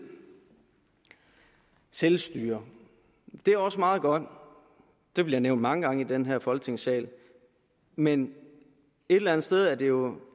og selvstyre det er også meget godt de bliver nævnt mange gange i den her folketingssal men et eller andet sted er det jo